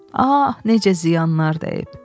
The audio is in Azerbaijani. Ah, necə ziyanlar dəyib.